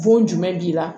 Bon jumɛn b'i la